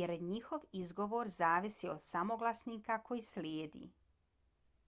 jer njihov izgovor zavisi od samoglasnika koji slijedi